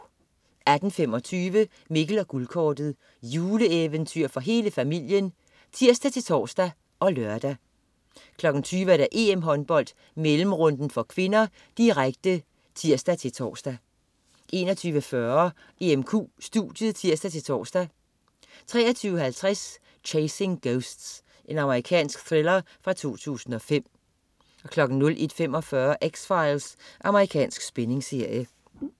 18.25 Mikkel og Guldkortet. Juleeventyr for hele familien (tirs-tors og lør) 20.00 EM-Håndbold: Mellemrunden (k), direkte (tirs-tors) 21.40 EMQ studiet (tirs-tors) 23.50 Chasing Ghosts. Amerikansk thriller fra 2005 01.45 X-Files. Amerikansk spændingsserie